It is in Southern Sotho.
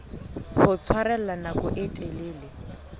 ho tshwarella nako e telele